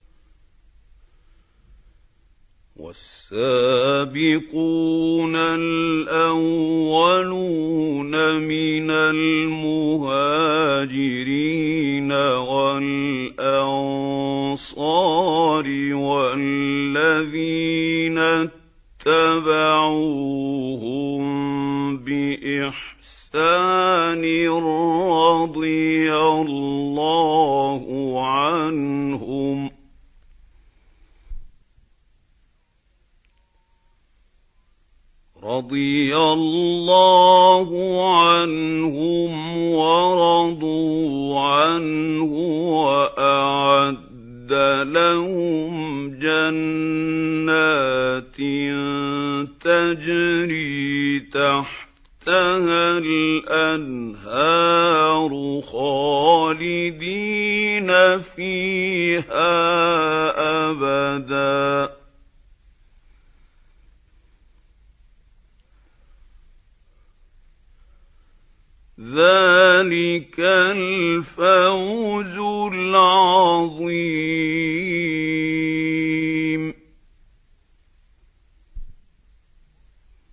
وَالسَّابِقُونَ الْأَوَّلُونَ مِنَ الْمُهَاجِرِينَ وَالْأَنصَارِ وَالَّذِينَ اتَّبَعُوهُم بِإِحْسَانٍ رَّضِيَ اللَّهُ عَنْهُمْ وَرَضُوا عَنْهُ وَأَعَدَّ لَهُمْ جَنَّاتٍ تَجْرِي تَحْتَهَا الْأَنْهَارُ خَالِدِينَ فِيهَا أَبَدًا ۚ ذَٰلِكَ الْفَوْزُ الْعَظِيمُ